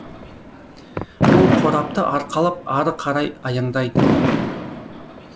ол қорапты арқалап ары қарай аяңдайды